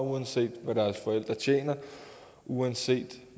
uanset hvad deres forældre tjener og uanset